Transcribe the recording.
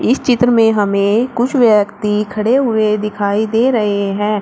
चित्र में हमें कुछ व्यक्ति खड़े हुए दिखाई दे रहे हैं।